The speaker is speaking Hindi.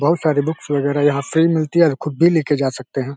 बहुत सारी बुक्स वगेरा यहाँ फ्री मिलती है और खुद भी लेके जा सकते हैं।